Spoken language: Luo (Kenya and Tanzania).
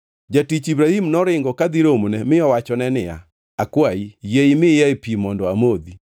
Jatich Ibrahim noringo kadhi romone mi owachone niya, “Akwayi, yie imiyae pi mondo amodhi.”